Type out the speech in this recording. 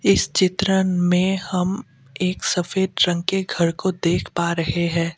इस चित्र में हम एक सफेद रंग के घर को देख पा रहे हैं।